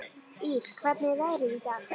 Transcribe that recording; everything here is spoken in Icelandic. Ýr, hvernig er veðrið í dag?